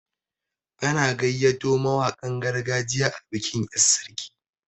An gayyato mawaƙan gargajiya a bikin yar' sarki.